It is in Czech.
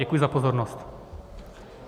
Děkuji za pozornost.